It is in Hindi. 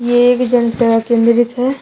ये एक जन सेवा केंद्रित है।